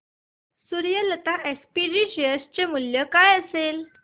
Suryalata SPG share चे मूल्य काय असेल